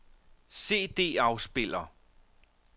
CD-afspiller